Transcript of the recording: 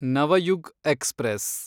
Navyug express